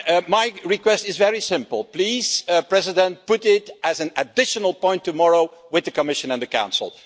My request is very simple please, Mr President, put it as an additional point tomorrow with the Commission and the Council.